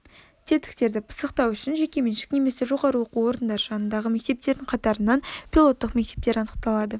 тетіктерді пысықтау үшін жекеменшік немесе жоғары оқу орындары жанындағы мектептердің қатарынан пилоттық мектептер анықталады